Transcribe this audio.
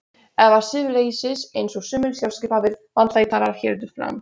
Eða siðleysis einsog sumir sjálfskipaðir vandlætarar héldu fram.